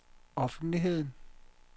offentligheden